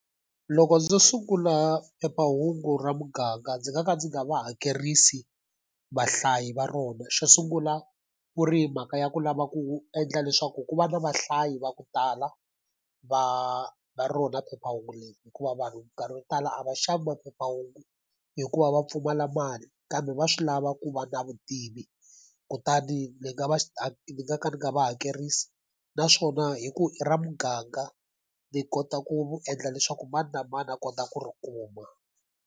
Loko ndzo sungula phephahungu ra muganga ndzi nga ka ndzi nga va hakerisi vahlayi va rona. Xo sungula ku ri hi mhaka ya ku lava ku endla leswaku ku va na vahlayi va ku tala, va va rona phephahungu leyi. Hikuva vanhu minkarhi wo tala a va xavi maphephahungu hikuva va pfumala mali kambe va swi lava ku va na vutivi. Kutani ndzi nga va ni nga ka ndzi nga va hakerisi, naswona hi ku i ra muganga ni kota ku endla leswaku mani na mani a kota ku ri kuma.